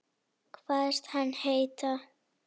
Kvaðst hann heita